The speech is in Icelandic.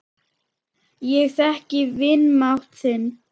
Ég þekki vanmátt þinn.